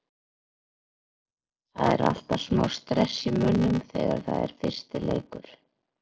Það er alltaf smá stress í mönnum þegar það er fyrsti leikur.